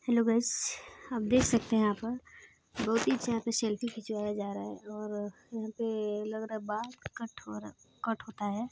Hello guys आप देख सकते है यहा पर दो तीज यहाँ पे सेल्फी खिचवा जा रहा है और यहाँ पे लग रहा है बाल कट हो रहा कट होता है।